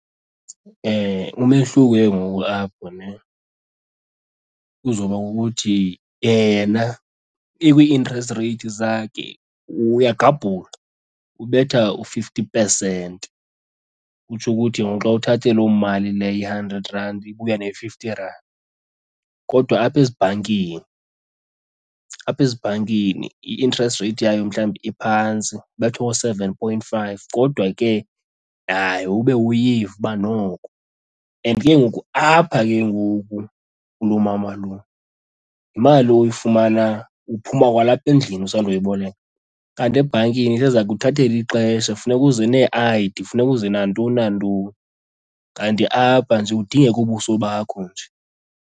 Umehluko ke ngoku apho ne kuzoba kukuthi yena ikwi-interest rate zakhe uya gqabuka ubetha u-fifty percent. Kutsho ukuthi ngoku xa uthathe loo mali leyo i-hundred rand ibuya ne-fifty rand. Kodwa apha ezibhankini, apha ezibhankini i-interest rate yayo mhlawumbi iphantsi ibetha koo-seven point five kodwa ke nayo ube uyiva uba noko. And ke ngoku apha ke ngoku kuloo mama lo yimali oyifumana uphuma kwalapha endlini usandoyiboleka. Kanti ebhankini iseza kuthathela ixesha, funeka uze nee-I_D funeka uze nantoni nantoni kanti apha nje kudingeka ubuso bakho nje.